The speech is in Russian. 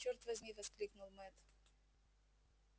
чёрт возьми воскликнул мэтт